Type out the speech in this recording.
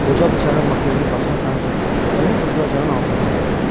Qoca bıçağı makrelin başına sancıb, onu oturacağın altından götürdü.